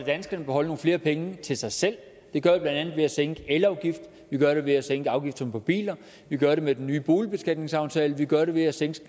danskerne beholde nogle flere penge til sig selv det vi blandt andet ved at sænke elafgiften vi gør det ved at sænke afgifterne på biler vi gør det med den nye boligbeskatningsaftale vi gør det ved at sænke